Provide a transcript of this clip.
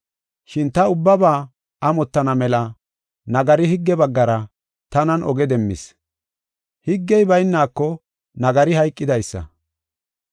Shin ta ubbaba amottana mela nagari higge baggara tanan oge demmis. Higgey bayneko nagari hayqidaysa.